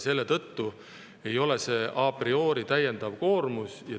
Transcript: Selle tõttu ei ole see a priori täiendav koormus.